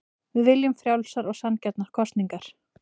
Við viljum frjálsar og sanngjarnar kosningar